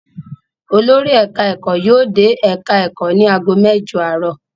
Olórí ẹ̀ka-ẹ̀kọ́ yóò dé ẹ̀ka-ẹ̀kọ́ ní ago mẹ́jọ àárọ̀.